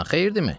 Xeyirdimi?